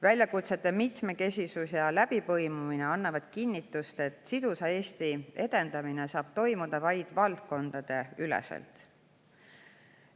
Väljakutsete mitmekesisus ja läbipõimumine annavad kinnitust, et sidusa Eesti edendamine saab toimuda vaid valdkondadeüleselt.